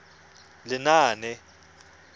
lenaane